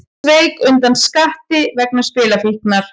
Sveik undan skatti vegna spilafíknar